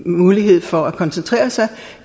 mulighed for at koncentrere sig